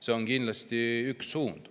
See on kindlasti üks suund.